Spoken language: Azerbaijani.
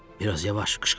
Bir az yavaş qışqırma.